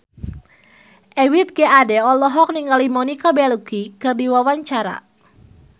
Ebith G. Ade olohok ningali Monica Belluci keur diwawancara